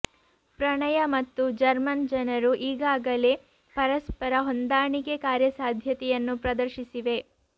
ಪ್ರಣಯ ಮತ್ತು ಜರ್ಮನ್ ಜನರು ಈಗಾಗಲೇ ಪರಸ್ಪರ ಹೊಂದಾಣಿಕೆ ಕಾರ್ಯಸಾಧ್ಯತೆಯನ್ನು ಪ್ರದರ್ಶಿಸಿವೆ